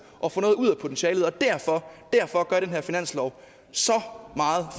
og få noget ud af potentialet og derfor derfor gør den her finanslov så meget